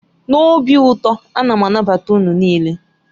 N'obi ụtọ, a na m anabata unu niile.